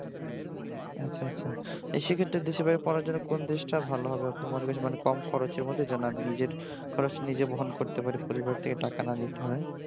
আচ্ছা আচ্ছা সেই ক্ষেত্রে দেশের বাইরে পড়ার জন্য কোন দেশটা ভালো হবে আপনি মনে করছেন মানে কম খরচের মধ্যে যেন আমি নিজের খরচ নিজে বহন করতে পারি পরিবার থেকে টাকা না নিতে হয়